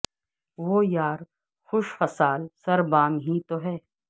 وہ یار خوش خصال سر بام ہی تو ہے